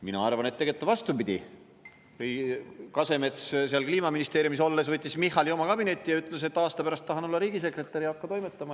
Mina arvan, et tegelikult on vastupidi: Kasemets seal Kliimaministeeriumis olles kutsus Michali oma kabinetti ja ütles, et aasta pärast ta tahab olla riigisekretär ja hakka toimetama.